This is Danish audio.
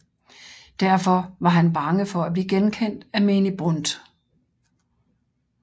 Derfor var han bange for at blive genkendt af menig Brundt